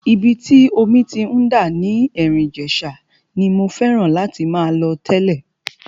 Ibi tí omi ti ń dà ní Erin Ijesa ni mo fẹ́ràn láti máa lọ tẹ́lẹ̀.